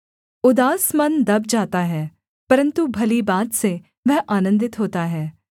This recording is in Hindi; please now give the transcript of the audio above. उदास मन दब जाता है परन्तु भली बात से वह आनन्दित होता है